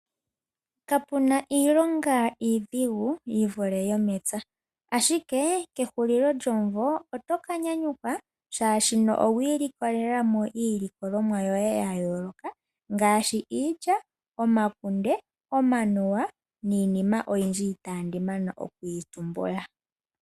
Ka puna iilonga iidhigu yi vule yomepya, ashike kehulilo lyomumvo oto ka nyanyukwa shaashi owiilikolela mo iilikolomwa yoye yayooloka ngaashi iilya, omakunde, omanuwa niinima oyindji itaandi mana okuyi tumbula.